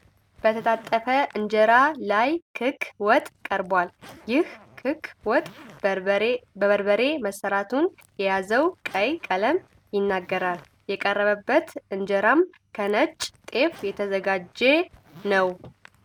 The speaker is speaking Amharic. በተጣጠፈ እንጀራ ላይ ክክ ወጥ ቀርቧል። ይህ ክክ ወጥ በበርበሬ መሰራቱን የያዘው ቀይ ቀለም ይናገራል፤ የቀረበበት እንጀራም ከነጭ ጤፍ የተዘጋጀ ነው።